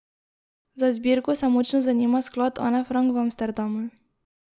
Za zbirko se močno zanima Sklad Ane Frank v Amsterdamu.